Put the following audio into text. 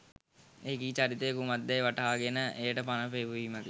එකී චරිතය කුමක්දැයි වටහාගෙන එයට පණ පෙවීමකි